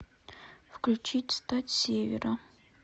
включить стать севера